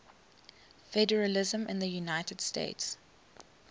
federalism in the united states